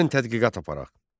Gəlin tədqiqat aparaq.